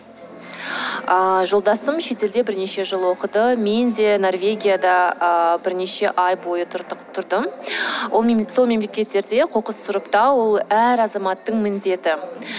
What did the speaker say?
ыыы жолдасым шетелде бірнеше жыл оқыды мен де норвегияда ыыы бірнеше ай бойы тұрдым сол мемлекеттерде қоқыс сұрыптау ол әр азаматтың міндеті